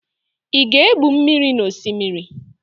Ị ga-egbu mmiri na Osimiri?